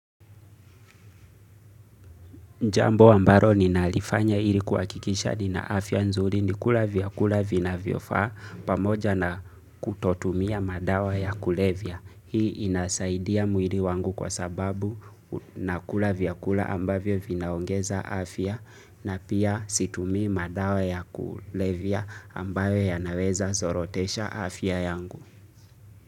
Jambo ambalo ninalifanya ili kuhakikisha nina afya nzuri ni kula vyakula vinavyofaa pamoja na kutotumia madawa ya kulevya. Hii inasaidia mwili wangu kwa sababu nakula vyakula ambavyo vinaongeza afya na pia situmii madawa ya kulevya ambayo yanaweza zorotesha afya yangu.